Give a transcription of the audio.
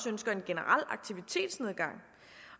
ønsker en generel aktivitetsnedgang